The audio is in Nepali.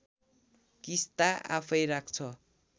किस्ता आफैँ राख्छ